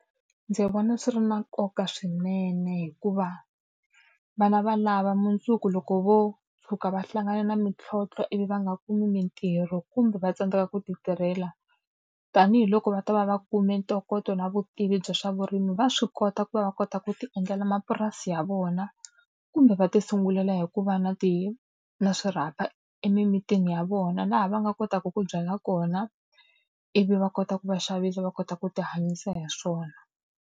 Ndzi vona swi ri na nkoka swinene hikuva vana valavo mundzuku loko vo tshuka va hlangana na mintlhontlho ivi va nga kumi mitirho kumbe va tsandzeka ku ti tirhela, tanihiloko va ta va va kume ntokoto na vutivi bya swa vurimi va swi kota ku va va kota ku ti endlela mapurasi ya vona. Kumbe va tisungulela hi ku va na ti na swirhapa emimitini ya vona, laha va nga kotaka ku byala kona ivi va kota ku va xavisa va kota ku tihanyisa hi swona.